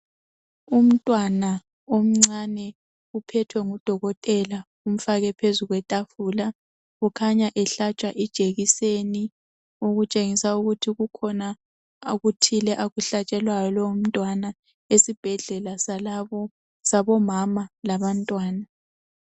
Umntwana omncane uphethwe ngodokotela umhlalise phezu kwetafula kukhanya ehlatshwa ijekiseni, okutshengisa ukuthi kukhona okuthile akuhlatshelwayo lowomntwana esibhedlela sabomama labantwana.